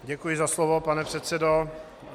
Děkuji za slovo, pane předsedo.